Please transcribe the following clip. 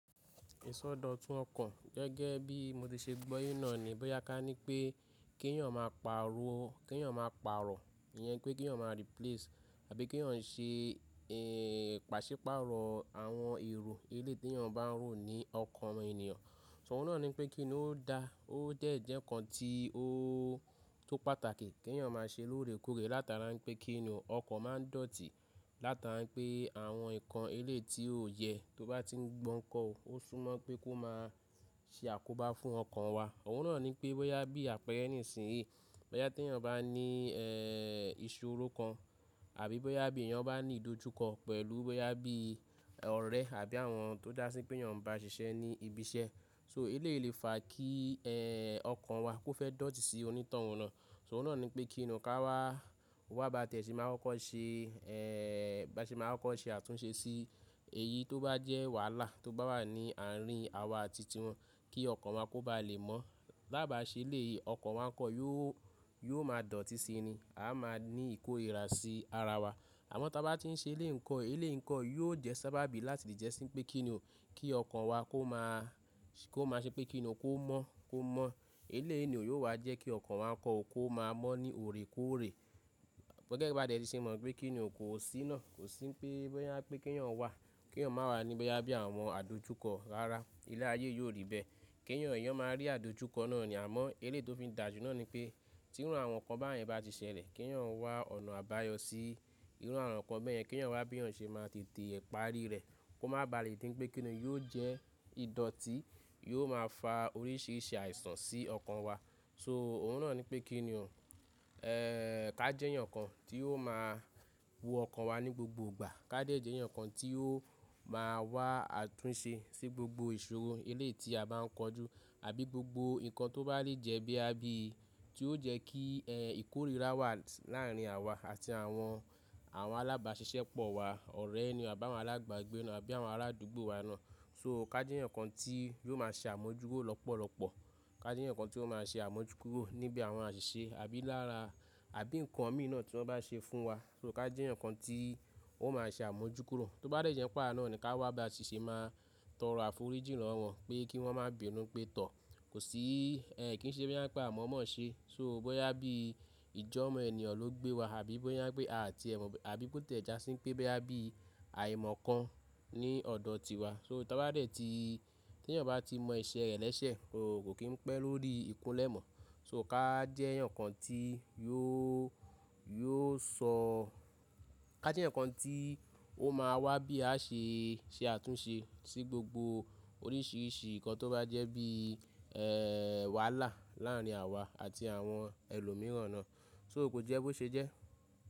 Ìsọdọ̀tun ọkàn gẹ́gẹ́ bí mo ti ṣe gbọ́ yín náà ni, bóyá ká ní pé kí èèyàn máa pariwo, kí èèyàn máa paarọ̀, ìyẹn pé kí èèyàn máa replace àbí kí èèyàn ṣe pàṣípààrọ̀ àwọn èrò elèyi ti èyàn bá ń rò ní ọkàn ènìyàn. Òun náà ni pé kíni ó da, ó dẹ̀ jẹ́ ǹkan tí ó tó pàtàkì kí èèyàn máa ṣe lóore kóòrè látara pé kíni ọkàn máa ń dọ̀tí látara pé àwọn ǹkan eléèti ó yẹ tó bá ti ń gbọ́n kọ́, ó súmọ́ pé kó máa ṣe àkóbá fún ọkàn wa. Òun náà ni pé bóyá bí àpẹ̀rẹ́ nísìnyí, bóyá tí èèyàn bá ní ìṣòro kan àbí bóyá bí èèyàn bá ní ìdojúkọ pẹ̀lú, bóyá bí ọ̀rẹ́ àbí àwọn tó dá sí pé èèyàn ń bá ṣiṣẹ́ ní ibi iṣẹ́. So eléyi lè fa kí ọkàn wa kó fẹ́ dọ̀tí sí onítọ̀hun nà. Òun náà ni pé kíni ká wá, wá bá tẹ̀sí máa kó ṣe, bá ṣe máa kóko ṣe àtúnṣe sí èyí tó bá jẹ́ wàhálà tó bá wà ní àárín àwa àti ti wọn kí ọkàn wa kó bá lè mọ́. Bàá bà ṣe eléèyi ọkàn wa ńkọ̀ yóò, yóò máa dọ̀tí sí ni, a máa ní ìkórìíra sí ara wa. Àmọ́ tó bá ti ń ṣe eléèńkan, eléèńkan yóò jẹ́ sábàbí láti jẹ́ sí i pé kíni o, kí ọkàn wa kó máa ṣe pé kíni ó kó mọ́, kó mọ́. Eléyi ni ò yóò wá jẹ́ kí ọkàn wa ńkọ̀ ó kó máa mọ́ ní òrè kóòrè. Bó tí ẹ bá dẹ̀ tí ṣe mọ̀ pé kíni òun kò sí náà, kò sí pé bóyá pé kí èèyàn wà, kí èèyàn máa wà ní bóyá bí àwọn àdojúkọ rara, ilé ayé yóò rí bẹ́ẹ̀. Kí èèyàn, èèyàn máa rí àdojúkọ náà ni àmọ́ eléèti ó fi ń dàjú náà ni pé tí irú àwọn ǹkan bẹ́ẹ̀ yẹn bá ti ṣẹlẹ̀, kí èèyàn wá ọ̀nà àbáyọ sí irú àwọn ǹkan bẹ́ẹ̀ yẹn, kí èèyàn wá bí eyàn ṣe máa tètè parí rẹ̀. Kó máa ba lè dí n pé kíni yóò jẹ́ ìdọ̀tí, yóò máa fa oríṣiríṣi àìsàn sí ọkàn wa. So òun náà ni pé kíni ò, ká jẹ́ eyan kan tí wóò máa wo ọkàn wa ní gbogbo ìgbà, ká de jẹ́ eyaǹ kan tí yóò máa wá àtúnṣe sí gbogbo ìṣòro eléyiti a bá ń kojú àbí gbogbo ǹkan tó bá lè jẹ́ bí àbí tí ó jẹ́ kí ìkórìíra wà láàárín àwa àti àwọn, àwọn alábàáṣiṣẹ́ pọ̀ wa, ọ̀rẹ́ ni, àbi àwọn alába gbé náà àbí àwọn ará àdúgbò wa náà. So ká jẹ́ eyan kan tí yóò máa ṣe àmójúkúrò lọ́pọ̀lọ́pọ̀, ká jẹ́ eyan kan tí ó máa ṣe àmójúkúrò níbi àwọn àṣìṣe àbí lára àbí ǹkan òmí náà tí wọ́n bá ṣe fún wa. So ká jẹ́ eyan kan tí ó máa ṣe àmójúkúrò. Tó bá dẹ̀ jẹ́ áwá náà ni ká wá bá ṣi ṣẹ́ máa tọ̀rọ̀ àfojúrí lọ́wọ́ wọn pé kí wọ́n má béèrú pé tọ̀. Kò sí kí ń ṣe bóyá pé àmọ̀ mọ̀ ṣe. So bóyá bí ìjọ́mọ́ ènìyàn ló gbé wa àbí bóyá pé a ti ẹ̀ mọ̀ bí, àbí bóyá tí a dá sí pé bóyá bí àìmọ̀ kan ní ọ̀dọ̀ tiwa. So ta bá dẹ̀ tí, tí èèyàn bá ti mọ éṣẹ́ rẹ̀ lẹ́sẹ̀, kò kí ń pẹ́ lórí ikunlé mọ̀. So ká jẹ́ eyaǹ kan tí yóò, yóò sọ, ká jẹ́ eyaǹ kan tí ó máa wá bí a ṣe ṣe àtúnṣe sí gbogbo oríṣiríṣi ǹkan tó bá jẹ́ bí wàhálà láàárín àwa àti àwọn ẹlòmíràn náà. So ò kó jẹ́ bó ṣe jẹ́?